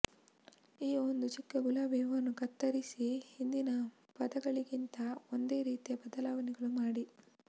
ಈಗ ಒಂದು ಚಿಕ್ಕ ಗುಲಾಬಿ ಹೂವನ್ನು ಕತ್ತರಿಸಿ ಹಿಂದಿನ ಪದಗಳಿಗಿಂತ ಒಂದೇ ರೀತಿಯ ಬದಲಾವಣೆಗಳು ಮಾಡಿ